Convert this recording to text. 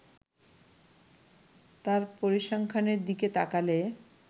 তার পরিসংখ্যানের দিকে তাকালে